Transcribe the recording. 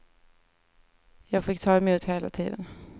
Jag fick ta emot hela tiden.